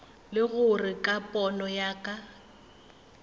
le gore ka pono ya